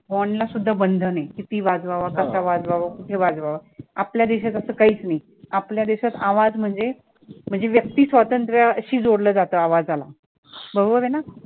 horn ला सुद्धा बंधन आहे किती वाजवावा, कसा वाजवावा, कुठे वाजवावा आपल्या देशात असं काहीच नाही, आपल्या देशात आवाज म्हणजे म्हणजे व्यक्ती स्वातंत्र्याशी जोडलं जातं आवाजाला बरोबर आहे ना